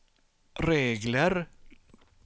regler